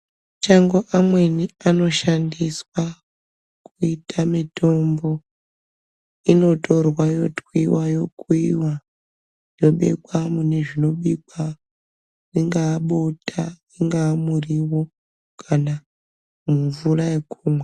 Chengo amweni, anoshandiswa kuita mitombo, inotorwaa yotwiwa yokuyiwa yobekwa munozvinobikwa ,ringava bota , ungava murivo kana mumvura yekumwa